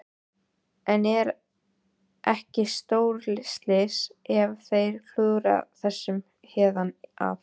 En er ekki stórslys ef þeir klúðra þessu héðan af?